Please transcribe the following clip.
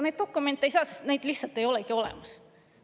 Neid dokumente ei saa, sest neid lihtsalt ei olegi olemas.